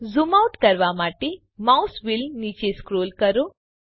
zoom out કરવા માટે mouse wheel નીચે સ્ક્રોલ કરો